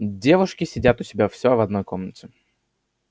девушки сидят у себя всё в одной комнате